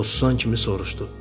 O susan kimi soruşdu.